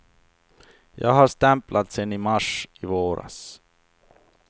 Jag har stämplat sen i mars i våras.